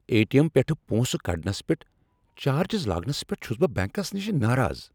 A. T. M پٮ۪ٹھہٕ پۄنسہٕ کڑنس پٮ۪ٹھ چارجٕز لاگنس پٮ۪ٹھ چُھس بہٕ بینکس نِشہِ ناراض ۔